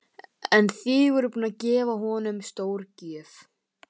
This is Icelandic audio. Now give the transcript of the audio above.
En þið voruð búin að gefa honum stórgjöf.